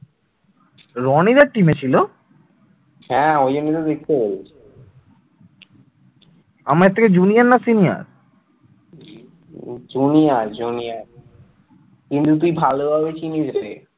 কিন্তু তুই ভালোভাবে চিনিস রে